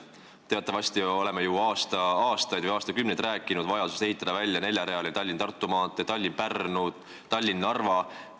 Teatavasti oleme ju aastaid või aastakümneid rääkinud vajadusest ehitada välja neljarealine Tallinna–Tartu maantee, oleme rääkinud Tallinna–Pärnu ja Tallinna–Narva maanteest.